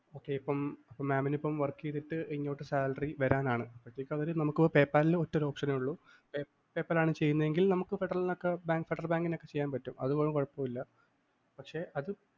ഇപ്പം mam നിപ്പം work ചെയ്തിട്ട് salary വരാനാണ്. അതിനിപ്പം PayPal ല്‍ ഒറ്റൊരു option ഉള്ളു. PayPal ലാണ്ചെയ്യുന്നതെങ്കില്‍ അത് ഫെഡറല്‍ ബാങ്കിന്